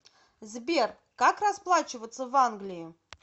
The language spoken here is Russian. сбер как расплачиваться в англии